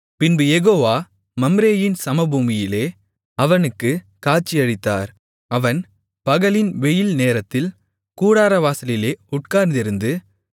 பின்பு யெகோவா மம்ரேயின் சமபூமியிலே அவனுக்குக் காட்சியளித்தார் அவன் பகலின் வெயில் நேரத்தில் கூடாரவாசலிலே உட்கார்ந்திருந்து